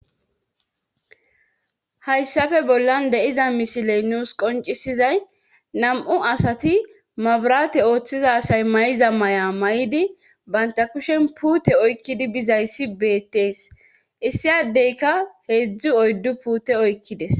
Hayssafe bollan de7iza mishiley nuus qoncisizay nam7u asati mabrate ooththizasay may7iza may7a may7idi baynta kushen puute oykkidi bizayssi beettees issiyadeyka heedzdzu oyddu puute oykkides